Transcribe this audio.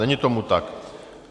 Není tomu tak.